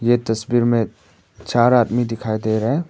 ये तस्वीर में चार आदमी दिखाई दे रहे हैं।